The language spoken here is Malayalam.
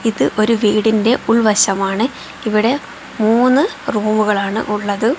ഇത് ഒരു വീടിന്റെ ഉൾവശമാണ് ഇവിടെ മൂന്ന് റൂമുകൾ ആണ് ഉള്ളത്.